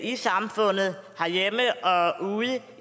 i samfundet herhjemme og ude